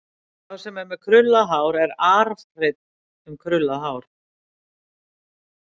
Sá sem er með krullað hár er arfhreinn um krullað hár.